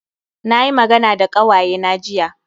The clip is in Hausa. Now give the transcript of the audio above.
Na yi magana da ƙawayena jiya